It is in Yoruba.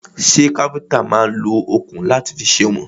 Ṣẹ́ káfíntà náà máà ń lo òkun láti fi sèwọ̀n?